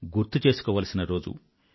గుర్తు చేసుకోవాల్సిన రోజు